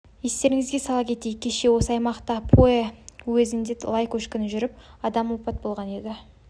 естеріңізге сала кетейік кеше осы аймақтың пугэ уезінде лай көшкіні жүріп адам опат болған еді